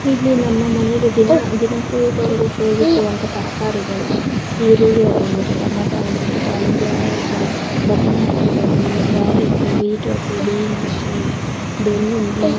ಇಲ್ಲಿ ನಮ್ಮ ಮನೆಗೆ ದಿನ ದಿನ ಉಪಯೋಗಿಸುವಂಥ ತರಕಾರಿಗಳು ಈರುಳ್ಳಿ ಆಗಿರಬಹುದು ಟೊಮೇಟೊ ಆಗಿರ್ಬಹುದು ದಾಳಿಂಬೆ ಸಾರೀ ಬದನೆ ಆಗಿರ್ಬೋದು ಕ್ಯಾರೇಟು ಬೀಟ್ರೂಟು ಬೀನ್ಸ್ ಬೆಳ್ಳುಳ್ಳಿ--